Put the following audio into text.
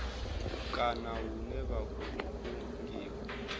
kana hune vha khou kungiwa